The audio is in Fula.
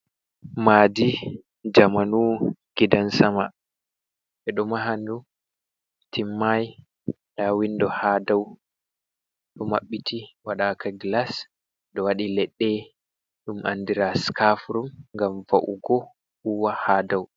Maadi jamanu gidan-sama ɓeɗo maha ndu timmai. Nda windo ha dau ɗo maɓɓiti waɗaka glas, do wadi leɗɗe ɗum andira skafur ngam va’ugo huwa ha dau.